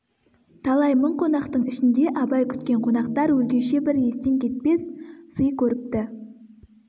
талай мың қонақтың ішінде абай күткен қонақтар өзгеше бір естен кетпес сый көріпті